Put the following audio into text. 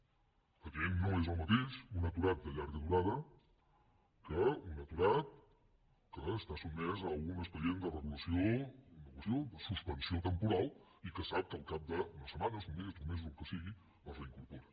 evidentment no és el mateix un aturat de llarga durada que un aturat que està sotmès a un expedient de regulació de suspensió temporal i que sap que al cap d’unes setmanes d’un mes d’uns mesos el que sigui es reincorpora